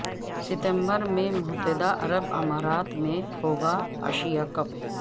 ستمبر میں متحدہ عرب امارات میں ہوگا ایشیا کپ